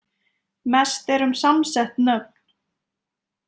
Mest er um samsett nöfn.